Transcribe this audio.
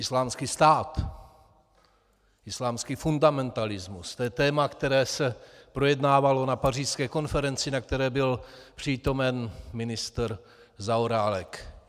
Islámský stát, islámský fundamentalismus, to je téma, které se projednávalo na pařížské konferenci, na které byl přítomen ministr Zaorálek.